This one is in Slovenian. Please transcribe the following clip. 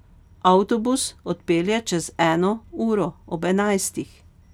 Avtobus odpelje čez eno uro, ob enajstih.